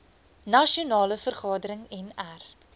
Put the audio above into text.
nasionale vergadering nr